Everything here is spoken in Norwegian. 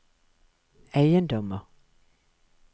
eiendommer